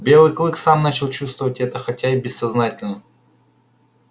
белый клык сам начал чувствовать это хотя и бессознательно